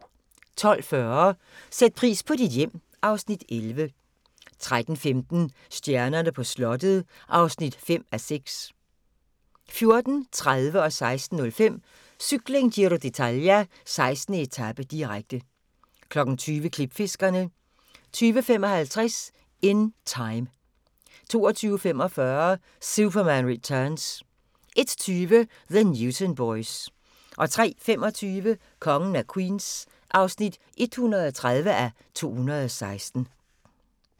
12:40: Sæt pris på dit hjem (Afs. 11) 13:15: Stjernerne på slottet (5:6) 14:30: Cykling: Giro d'Italia - 19. etape, direkte 16:05: Cykling: Giro d'Italia - 19. etape, direkte 20:00: Klipfiskerne 20:55: In Time 22:45: Superman Returns 01:20: The Newton Boys 03:25: Kongen af Queens (130:216)